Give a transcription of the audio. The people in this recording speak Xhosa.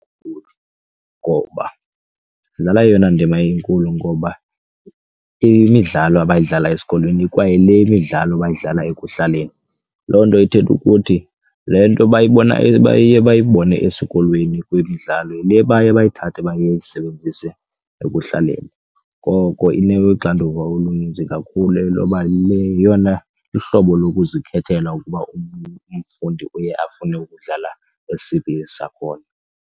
Ngoba idlala eyona ndima inkulu ngoba imidlalo abayidlala esikolweni ikwa yile midlalo bayidlala ekuhlaleni. Loo nto ithetha ukuthi le nto bayibona baye bayibone esikolweni kwimdlalo yile baye bayithathe bayisebenzise ekuhlaleni. Ngoko inoxanduva oluninzi kakhulu loba le yeyona luhlobo lokuzikhethela ukuba umfundi uye afune ukudlala esiphi isakhono.